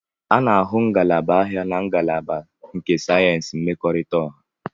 A na-ahụ ngalaba ahịa na ngalaba nke sayensị mmekọrịta ọha.